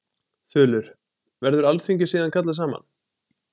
Þulur: Verður alþingi síðan kallað saman?